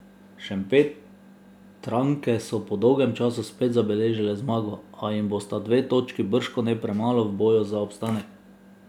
Šempetranke so po dolgem času spet zabeležile zmago, a jim bosta dve točki bržkone premalo v boju za obstanek.